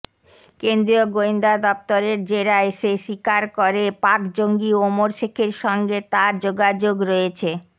কেন্দ্রীয় গোয়েন্দা দফতরের জেরায় সে স্বীকার করে পাক জঙ্গি ওমর শেখের সঙ্গে তার যোগাযোগ রয়েছে